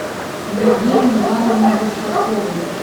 евгению ивановну большакову